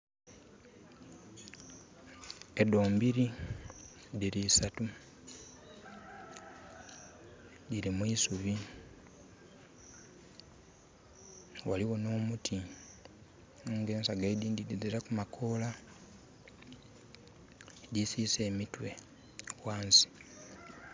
Edo mbiri diri isatu diri mwisubi waliwo no muti aye nga ensagga edindi diziraku makoola, disisa emitwe wansi